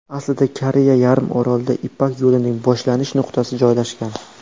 Aslida Koreya yarim orolida Ipak yo‘lining boshlanish nuqtasi joylashgan.